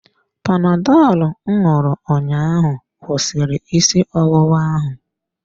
Panadọlụ m ṅụrụ ụnyaahụ kwụsịrị isi ọwụwa ahụ.